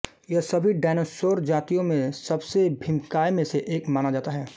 यह सभी डयनोसोर जातियों में सबसे भीमकाय में से एक माना जाता है